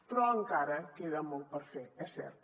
però encara queda molt per fer és cert